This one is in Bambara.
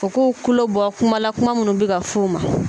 U k'u kulo bɔ kuma la kuma mun bɛ ka f'u ma.